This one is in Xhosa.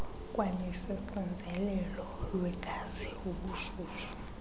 kwanesoxinzelelo lwegazi ubushushu